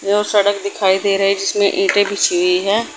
जो सड़क दिखाई दे रही है उसमें ईटे बिछी हुई है।